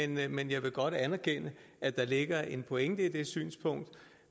den men jeg vil godt anerkende at der ligger en pointe i det synspunkt